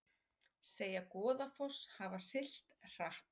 Segja Goðafoss hafa siglt hratt